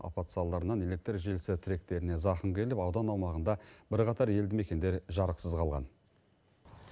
апат салдарынан электр желісі тіректеріне зақым келіп аудан аумағында бірқатар елді мекендер жарықсыз қалған